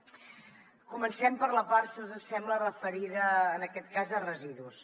comencem per la part si els hi sembla referida en aquest cas a residus